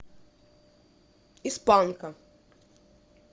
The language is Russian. из панка